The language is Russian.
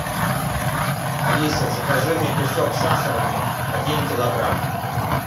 алиса закажи мне песок сахарный один килограмм